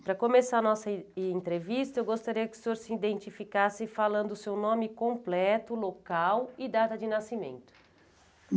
Para começar a nossa en entrevista, eu gostaria que o senhor se identificasse falando o seu nome completo, local e data de nascimento.